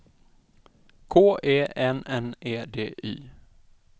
K E N N E D Y